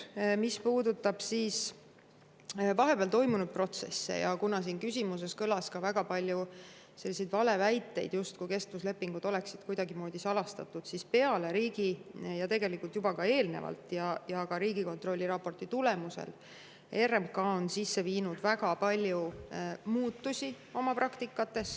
Mis puudutab vahepeal toimunud protsesse, mille kohta küsimuses kõlas ka väga palju valeväiteid, justkui kestvuslepingud oleksid kuidagimoodi salastatud, siis ütlen, et tegelikult juba eelnevalt, aga ka Riigikontrolli raporti tulemusel on RMK oma praktikas teinud väga palju muutusi.